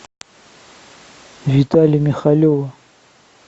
витале михалеву